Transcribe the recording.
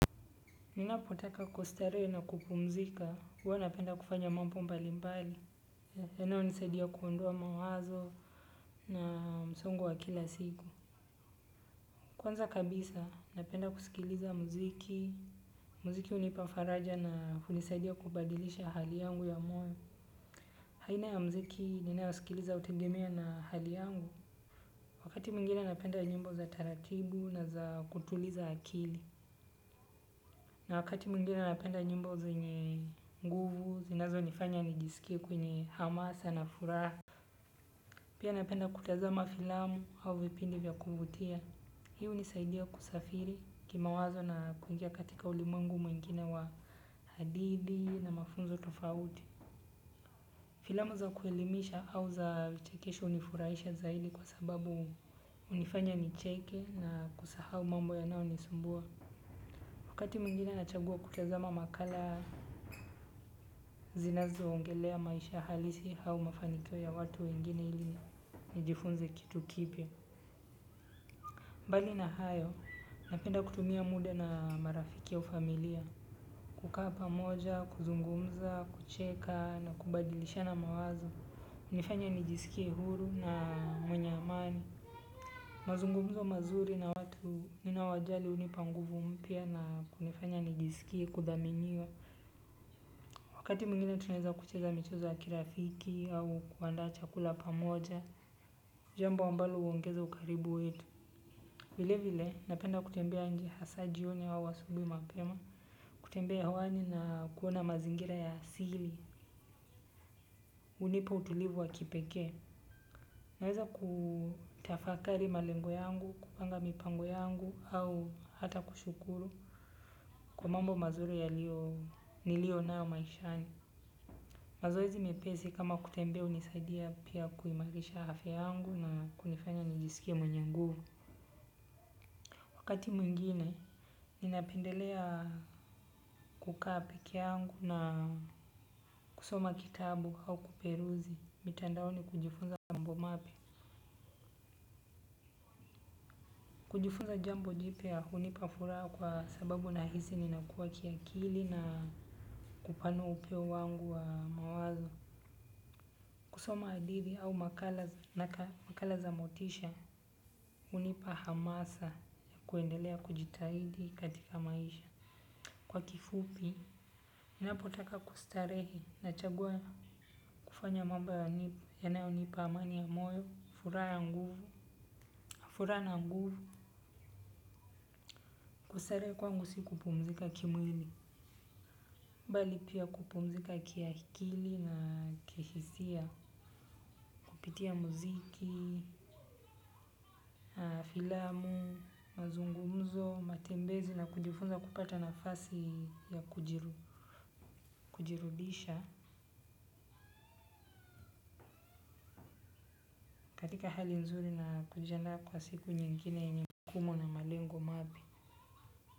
Ninapotaka kustarehe na kupumzika, huwa napenda kufanya mambo mbalimbali. Na tena hunisaidia kuondoa mawazo na msongo wa kila siku. Kwanza kabisa, napenda kusikiliza muziki. Muziki hunipa faraja na hunisaidia kubadilisha hali yangu ya moyo. Aina ya muziki, ninayosikiliza hutegemea na hali yangu na hali yangu. Wakati mwingine napenda nyimbo za taratibu na za kutuliza akili. Na wakati mwingine napenda nyimbo zenye nguvu, zinazo nifanya nijisikie kwenye hamasa na furaha. Pia napenda kutazama filamu au vipindi vya kuvutia. Hii hunisaidia kusafiri kimawazo na kuingia katika ulimwengu mwingine wa hadidi na mafunzo tofauti. Filamu za kuelimisha au za vichekesho hunifurahisha zaidi kwa sababu hunifanya nicheke na kusahau mambo yanayonisumbua wakati mwingine nachagua kutazama makala zinazoongelea maisha halisi au mafanikio ya watu wengine ili nijifunze kitu kipya mbali na hayo napenda kutumia muda na marafiki wa familia kukaa pamoja kuzungumza kucheka na kubadilishana mawazo hunifanya nijiskie huru na mwenye amani mazungumzo mazuri na watu ninao wajali hunipa nguvu mpya na kunifanya nijiskie kuthaminiwa. Wakati mwngine tunaweza kucheza michezo ya kirafiki au kuandaa chakula pamoja, jambo ambalo huongeza ukaribu wetu. Vile vile, napenda kutembea njia hasa jioni au asubuhi mapema, kutembea hawani na kuona mazingira ya siri, hunipa utulivu wa kipekee. Naweza kutafakari malengo yangu, kupanga mipango yangu au hata kushukuru kwa mambo mazuri yalio niliyo nayo maishani. Mazoezi mepesi kama kutembea hunisaidia pia kuimarisha afya yangu na kunifanya nijisikie mwenye nguvu. Wakati mwingine ninapendelea kukaa pekee yangu na kusoma kitabu au kuperuzi mitandaoni ukijifunza mambo mapya kujifunza jambo jipya ya kunipa furaha kwa sababu nahisi nakua kiakili na kupanua upeo wangu wa mawazo kusoma hadithi au nakala za motisha hunipa hamasa kuendelea kujitahidi katika maisha kwa kifupi ninapotaka kustarehe nachagua kufanya mambo ya mungu yanaponipa amani ya moyo furaha nguvu furaha na nguvu kustarehe kwangu si kupumzika kimwili mbali pia kupumzika kiakili na kihisia kupitia muziki aah filamu mazungumzo matembezi na kujifunza kupata nafasi ya kujirudi kujirudisha katika hali nzuri na kujinata kwenye siku nyingine yenye jukumu na malengo mapya.